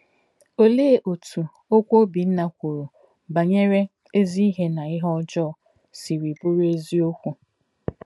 Olee otú okwu Obinna kwuru banyere ezi ihe na ihe ọjọọ siri bụrụ eziokwu?